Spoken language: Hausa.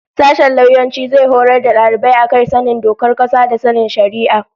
Sashen lauyanci zai horar da dalibai a kan sanin dokar kasa da sanin shari'a